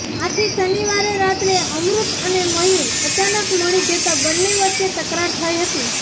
આથી શનિવારે રાતે અમૃત અને મયૂર અચાનક મળી જતા બન્ને વચ્ચે તકરાર થઈ હતી